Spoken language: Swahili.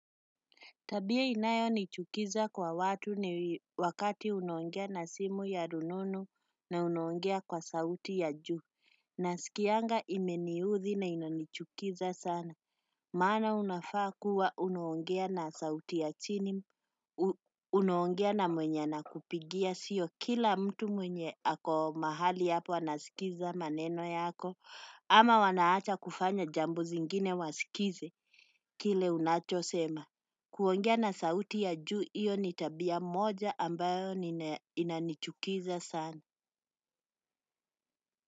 Tabia inayonichukiza kwa watu ni wakati unaongea na simu ya rununu na unaongea kwa sauti ya juu. Nasikianga imeniudhi na inanichukiza sana. Maana unafaa kuwa unaongea na sauti ya chini, unaongea na mwenye anakupigia sio kila mtu mwenye ako mahali hapo anasikiza maneno yako, ama wanaacha kufanya jambo zingine wasikize kile unachosema. Kuongea na sauti ya juu hiyo ni tabia moja ambayo inanichukiza sana.